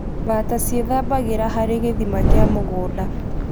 Bata ciethabagĩra harĩ gĩthima kia mũgũnda